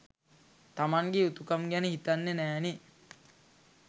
තමන්ගෙ යුතුකම් ගැන හිතන්නෙ නෑ නෙ.